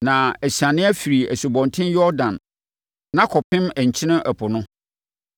akɔsi Ribla wɔ Ain apueeɛ fam. Ɛfiri hɔ a, ɛbɛkɔ akɔpem Kineret ɛpo no wɔ apueeɛ fam,